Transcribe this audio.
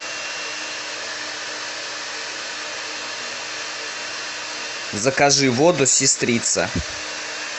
закажи воду сестрица